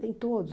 Nem todos.